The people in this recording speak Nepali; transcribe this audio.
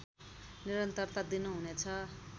निरन्तरता दिनुहुने छ